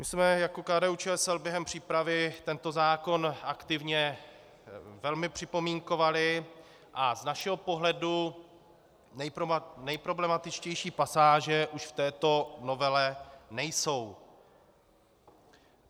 My jsme jako KDU-ČSL během přípravy tento zákon aktivně velmi připomínkovali a z našeho pohledu nejproblematičtější pasáže už v této novele nejsou.